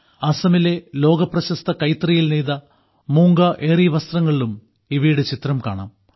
അസാമിലെ ലോകപ്രശസ്ത കൈത്തറിയിൽ നെയ്ത മൂംഗാ ഏറി വസ്ത്രങ്ങളിലും ഇവയുടെ ചിത്രം കാണാം